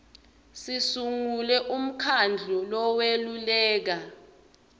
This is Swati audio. sisungule umkhandlu loweluleka